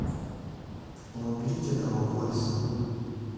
уберите этого войса